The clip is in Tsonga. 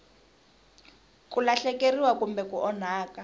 ku lahlekeriwa kumbe ku onhaka